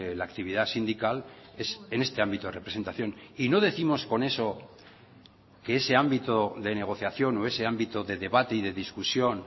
la actividad sindical es en este ámbito de representación y no décimos con eso que ese ámbito de negociación o ese ámbito de debate y de discusión